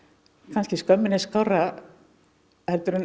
kannski skömminni skárra en